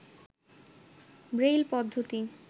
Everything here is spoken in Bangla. ব্রেইল পদ্ধতি